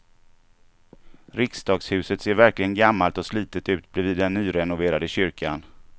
Riksdagshuset ser verkligen gammalt och slitet ut bredvid den nyrenoverade kyrkan.